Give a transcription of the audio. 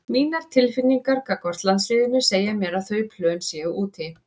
Mínar tilfinningar gagnvart landsliðinu segja mér að þau plön séu úti.